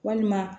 Walima